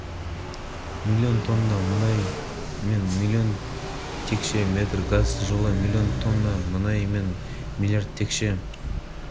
жылы қарашада қашағандағы мұнай өндіру көлемі тәулігіне мың баррельден асып коммерциялық деңгейге шықты қазіргі уақытта мұнай